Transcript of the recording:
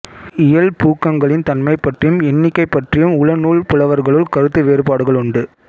இயல் பூக்கங்களின் தன்மை பற்றியும் எண்ணிக்கை பற்றியும் உள நூல் புலவர்களுள் கருத்து வேறுபாடுகளுண்டு